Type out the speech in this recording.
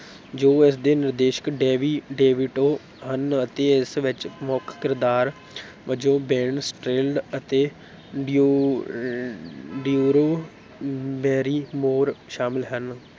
ਜੋ ਇਸਦੇ ਨਿਰਦੇਸ਼ਕ ਡੇੱਨੀ ਡੇਵਿਟੋ ਹਨ ਅਤੇ ਇਸ ਵਿੱਚ ਮੁੱਖ ਕਿਰਦਾਰ ਵਜੋਂ ਬੇਨ ਸਟਿੱਲਡ ਅਤੇ ਡਿਉ ਡਿਊਰੂ ਬੈਰੀਮੋਰ ਸ਼ਾਮਿਲ਼ ਹਨ।